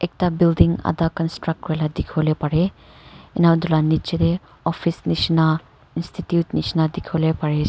ekta building adha construct kura laga dekhivo lae parey enika etu la nichey tae office neshina institute neshina dekhivo pari--